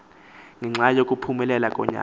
ngenxa yokuphumelela konyana